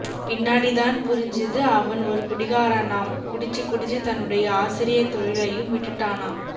பின்னாடிதான் புரிஞ்சுது அவன் ஒரு குடிகாரனாம் குடிச்சி குடிச்சி தன்னுடைய ஆசிரியர் தொழிலையும் விட்டுட்டானாம்